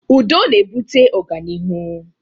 Udo na-ebute ọganihu